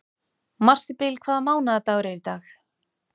Marsibil, hvaða mánaðardagur er í dag?